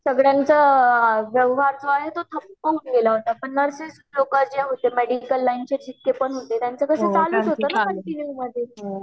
सगळ्याचा व्यवहार जे आहे ते ठप्प पडला आहे पण नर्सिंग नर्सेस लोक जे होती मेडिकल लाइन चे जीतके पण होते